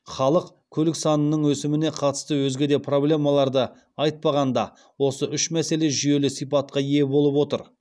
халық көлік санының өсіміне қатысты өзге де проблемаларды айтпағанда осы үш мәселе жүйелі сипатқа ие болып отыр